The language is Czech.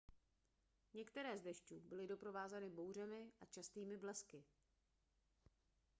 některé z dešťů byly doprovázeny bouřemi a častými blesky